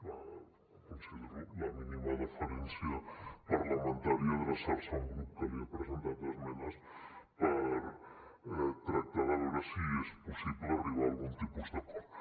bé considero la mínima deferència parlamentària adreçar se a un grup que li ha presentat esmenes per tractar de veure si és possible arribar a algun tipus d’acord